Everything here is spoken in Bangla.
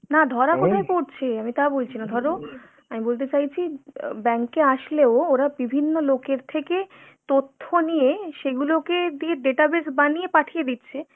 না ধরা কোথায় পড়ছে? আমি তা বলছি না। ধরো, আমি বলতে চাইছি অ্যাঁ bank এ আসলেও ওরা বিভিন্ন লোকের থেকে তথ্য নিয়ে সেগুলোকে দিয়ে data base বানিয়ে পাঠিয়ে দিচ্ছে।